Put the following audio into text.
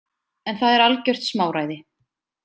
En það er algjört smáræði.